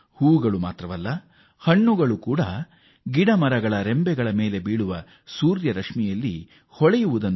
ಹೂವುಗಳು ಮಾತ್ರವೇ ಅಲ್ಲ ಸೂರ್ಯ ರಶ್ಮಿಯಿಂದ ಮರದ ಕೊಂಬೆಗಳಲ್ಲಿ ಹಣ್ಣುಗಳು ಫಳಫಳ ಹೊಳೆಯುತ್ತವೆ